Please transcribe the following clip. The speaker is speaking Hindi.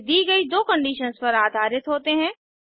ये दी गई दो कंडीशंस पर आधारित होते हैं